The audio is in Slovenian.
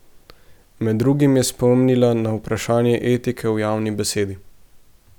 Med drugim je spomnila na vprašanje etike v javni besedi.